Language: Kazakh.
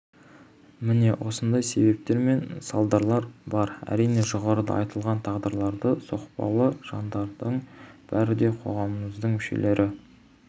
міне осындай себептер мен салдарлар бар әрине жоғарыда айтылған тағдырлары соқтықпалы жандардың бәрі де қоғамымыздың мүшелері